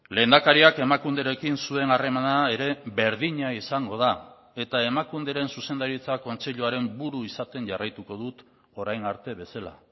lehendakariak emakunderekin zuen harremana ere berdina izango da eta emakunderen zuzendaritza kontseiluaren buru izaten jarraituko dut orain arte bezala